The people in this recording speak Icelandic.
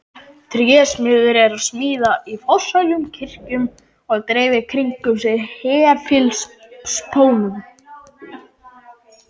Trésmiður er að smíða í forsælu kirkjunnar og dreifir kringum sig hefilspónum.